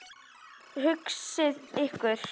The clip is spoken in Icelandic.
Hugsið ykkur.